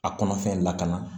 A kɔnɔfɛn lakana